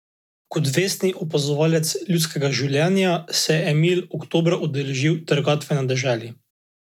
Kot da za nekatere enostavno ne veljajo prometni predpisi.